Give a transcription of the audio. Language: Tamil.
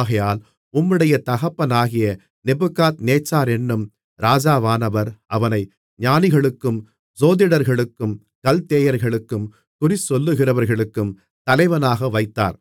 ஆகையால் உம்முடைய தகப்பனாகிய நேபுகாத்நேச்சாரென்னும் ராஜாவானவர் அவனை ஞானிகளுக்கும் சோதிடர்களுக்கும் கல்தேயர்களுக்கும் குறிசொல்லுகிறவர்களுக்கும் தலைவனாக வைத்தார்